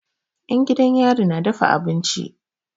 'Yan gidan yari na dafa abinci.